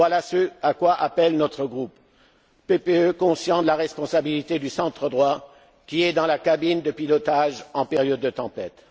Voilà ce à quoi appelle notre groupe PPE, conscient de la responsabilité du centre droit, qui est dans la cabine de pilotage en période de tempête.